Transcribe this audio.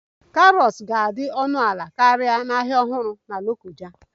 Carrots ga-adị ọnụ ala karịa na Ahịa Ọhụrụ na Lokoja